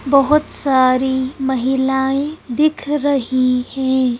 बहुत सारी महिलाएं दिख रही हैं।